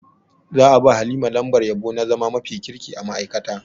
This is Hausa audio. Za a ba Halima lambar yabo na zama mafi kirki a ma'aikata.